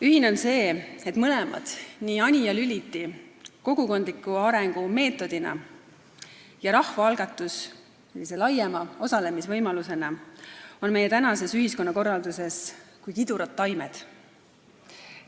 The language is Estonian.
Ühine on see, et mõlemad, nii Anija Lüliti kogukondliku arengu meetodina kui ka rahvaalgatus laiema osalemisvõimalusena on meie tänases ühiskonnakorralduses kui kidurad taimed.